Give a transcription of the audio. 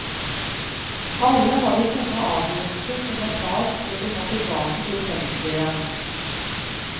Alle har de tunge avgjørelser som må tas før de må tilbake til fengselet igjen.